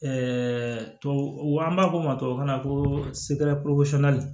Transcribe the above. tubabu an b'a fɔ o ma tubabukan na ko